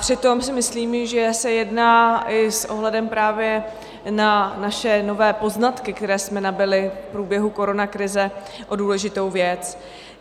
Přitom si myslím, že se jedná i s ohledem právě na naše nové poznatky, které jsme nabyli v průběhu koronakrize, o důležitou věc.